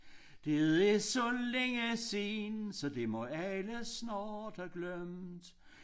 Det er så længe siden så det må alle snart have glemt